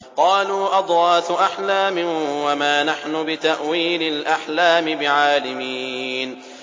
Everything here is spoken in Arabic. قَالُوا أَضْغَاثُ أَحْلَامٍ ۖ وَمَا نَحْنُ بِتَأْوِيلِ الْأَحْلَامِ بِعَالِمِينَ